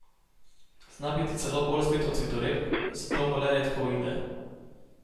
Zna biti celo bolj zvit od zvitorepk, zato mu le redka uide.